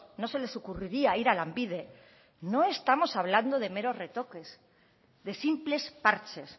no se les ocurriría ir a lanbide no estamos hablando de meros retoques de simples parches